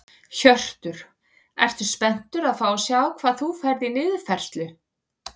Hjörtur: Ertu spenntur að fá að sjá hvað þú færð í niðurfærslu?